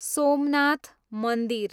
सोमनाथ मन्दिर